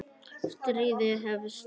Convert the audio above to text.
Stríðið hefst